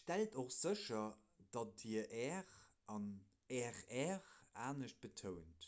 stellt och sécher dat dir 'r' an 'rr' anescht betount: